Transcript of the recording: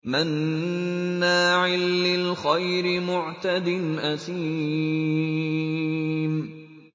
مَّنَّاعٍ لِّلْخَيْرِ مُعْتَدٍ أَثِيمٍ